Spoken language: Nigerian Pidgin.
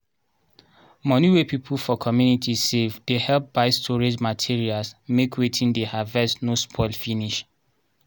moni wey people for community save dey help buy storage materials make wetin dey harvest no spoil finish.